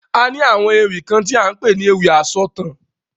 A ní àwọn ewì kan ti à ń pè ní ewì asọ̀taǹ.